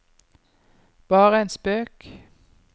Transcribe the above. bare en spøk